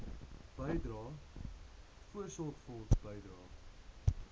bydrae voorsorgfonds bydrae